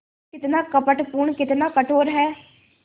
कितना कपटपूर्ण कितना कठोर है